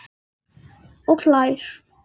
Og hlær.